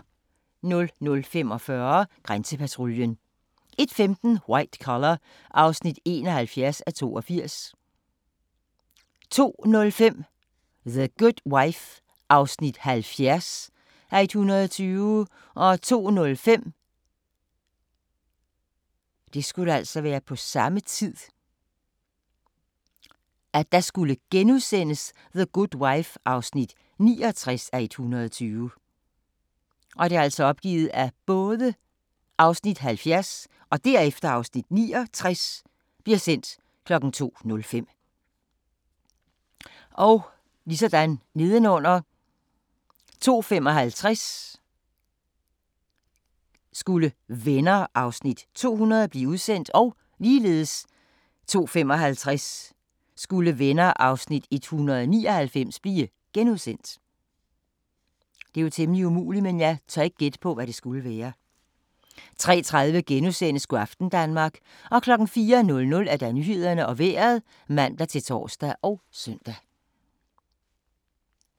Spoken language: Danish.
00:45: Grænsepatruljen 01:15: White Collar (71:82) 02:05: The Good Wife (70:120) 02:05: The Good Wife (69:120)* 02:55: Venner (200:235) 02:55: Venner (199:235)* 03:30: Go' aften Danmark * 04:00: Nyhederne og Vejret (man-tor og søn)